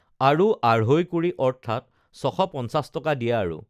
আৰু আঢ়ৈ কুৰি অৰ্থাৎ ছশ পঞ্চাছ টকা দিয়া আৰু